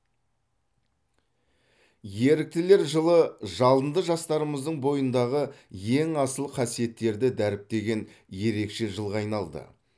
еріктілер жылы жалынды жастарымыздың бойындағы ең асыл қасиеттерді дәріптеген ерекше жылға айналды